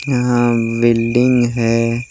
यहाँ बिल्डिंग है।